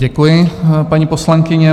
Děkuji, paní poslankyně.